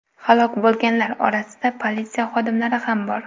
Halok bo‘lganlar orasida politsiya xodimlari ham bor.